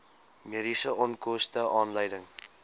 mediese onkoste aanleiding